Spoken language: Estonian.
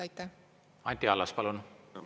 Anti Allas, palun!